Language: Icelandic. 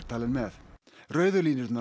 talinn með rauðu línurnar